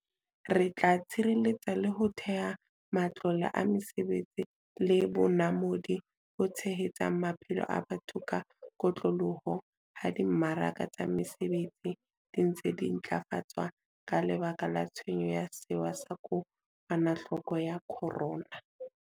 Re tla tshireletsa le ho theha matlole a mesebetsi le bonamodi bo tshehetsang maphelo a batho ka kotloloho ha di mmaraka tsa mesebetsi di ntse di ntlafatswa ka lebaka la tshenyo ya sewa sa ko kwanahloko ya corona.